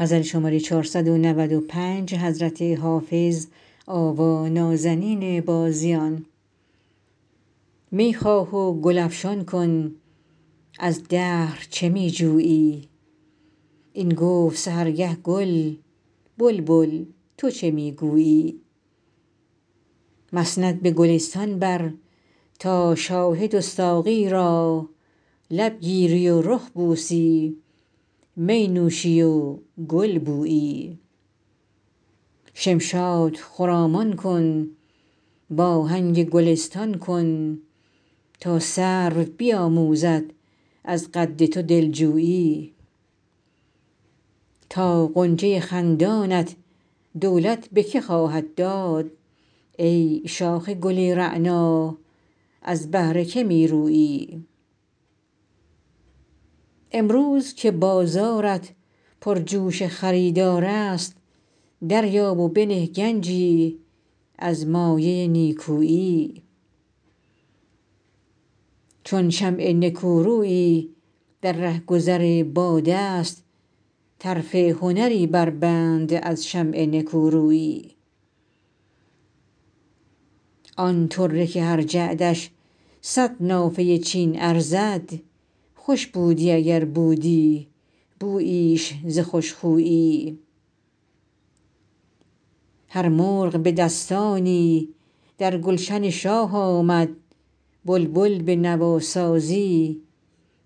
می خواه و گل افشان کن از دهر چه می جویی این گفت سحرگه گل بلبل تو چه می گویی مسند به گلستان بر تا شاهد و ساقی را لب گیری و رخ بوسی می نوشی و گل بویی شمشاد خرامان کن وآهنگ گلستان کن تا سرو بیآموزد از قد تو دل جویی تا غنچه خندانت دولت به که خواهد داد ای شاخ گل رعنا از بهر که می رویی امروز که بازارت پرجوش خریدار است دریاب و بنه گنجی از مایه نیکویی چون شمع نکورویی در رهگذر باد است طرف هنری بربند از شمع نکورویی آن طره که هر جعدش صد نافه چین ارزد خوش بودی اگر بودی بوییش ز خوش خویی هر مرغ به دستانی در گلشن شاه آمد بلبل به نواسازی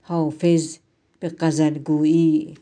حافظ به غزل گویی